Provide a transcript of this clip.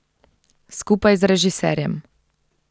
Skupaj z režiserjem.